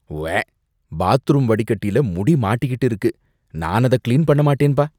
உவ்வே! பாத்ரூம் வடிகட்டில முடி மாட்டிக்கிட்டு இருக்கு. நான் அத கிளீன் பண்ண மாட்டேன்பா.